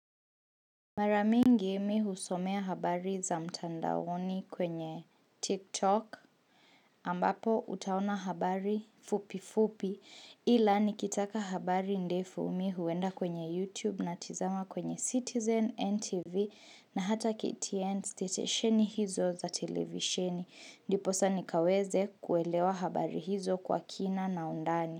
Mara mingi mi usomea habari za mtandaoni kwenye TikTok ambapo utaona habari fupi fupi ila nikitaka habari ndefu mi uenda kwenye YouTube natizama kwenye Citizen, NTV na hata KTN Stetesheni hizo za televisheni ndiposa nikaweze kuelewa habari hizo kwa kina na undani.